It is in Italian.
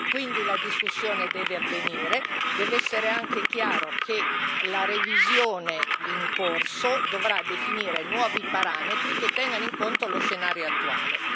Quindi la discussione deve avvenire e deve essere anche chiaro che la revisione in corso dovrà definire nuovi parametri che tengano conto dello scenario attuale.